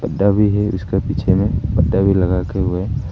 डबी है उसके पीछे में पर्दा भी लगा के हुए है।